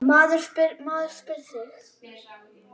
Maður spyr sig.